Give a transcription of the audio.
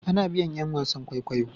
A na biyan yan wasan kwaikwayo